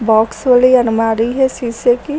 Box वाली अलमारी है शीशे की।